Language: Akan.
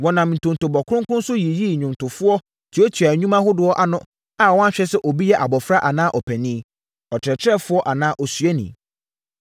Wɔnam ntontobɔ kronkron so yiyii nnwomtofoɔ tuatuaa nnwuma ahodoɔ ano a wɔanhwɛ sɛ obi yɛ abɔfra anaa ɔpanin, ɔkyerɛkyerɛfoɔ anaa osuani.